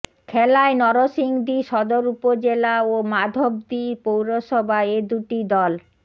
খেলায় নরসিংদী সদর উপজেলা ও মাধবদী পৌরসভা এ দুটি দল